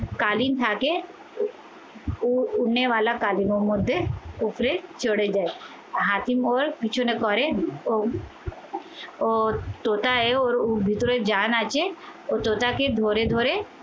কালীন থাকে উপরে চড়ে যায় হাতিম ওর পিছনে করে ওর টোটায় ওর ভিতরে জান আছে ও তোতাকে ধরে ধরে.